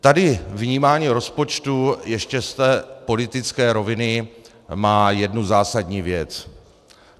Tady vnímání rozpočtu ještě z té politické roviny má jednu zásadní věc.